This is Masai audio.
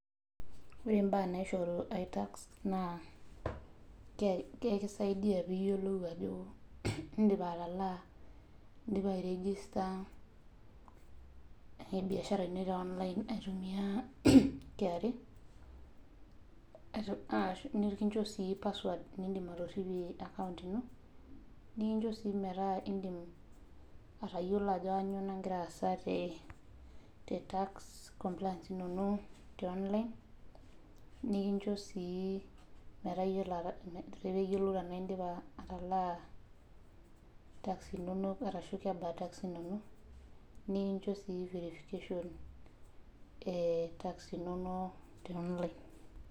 Ore mbaa naishoru aitax naa ekisaidia pee iyiolou ajo indim atalaa nindim airegister biashara ino teonline aitumiyia KRA nikincho sii password nindim atoripie akaont ino ,nikincho sii tayiolo indim atayiolo ajo kainyoo nagira aasa tax compliance inonok teonline nikincho sii metaa iyiolo tenaa itala tax inonok ashu kebaa tax inonok, nikincho sii verification etax inonok teonline.